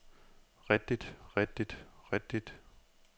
rigtigt rigtigt rigtigt